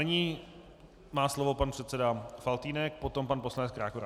Nyní má slovo pan předseda Faltýnek, potom pan poslanec Krákora.